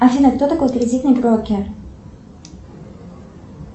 афина кто такой кредитный брокер